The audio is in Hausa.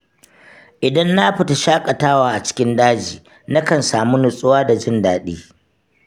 Idan na fita shaƙatawa a cikin daji, nakan sami nutsuwa da jin daɗi.